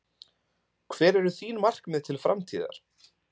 Hver eru þín markmið til framtíðar?